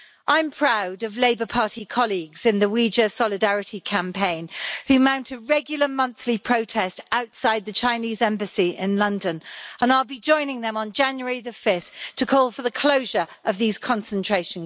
I'm proud of Labour Party colleagues in the Uyghur Solidarity Campaign, who mount a regular monthly protest outside the Chinese embassy in London, and I'll be joining them on 5 January to call for the closure of these concentration camps.